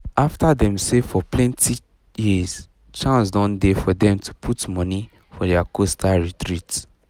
after dem save for plenty years chance don dey for dem to put money for the coastal retreat